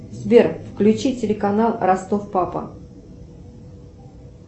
сбер включи телеканал ростов папа